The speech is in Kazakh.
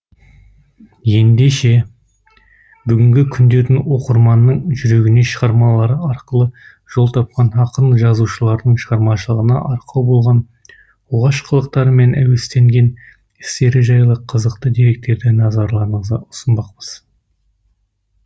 ендеше бүгінгі күндері оқырманның жүрегіне шығармалары арқылы жол тапқан ақын жазушылардың шығармашылығына арқау болған оғаш қылықтары мен әуестенген істері жайлы қызықты деректерді назарларыңызға ұсынбақпыз